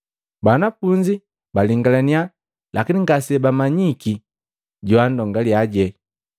Banafunzi balingalania lakini ngase bummanyiki joandongaliaje.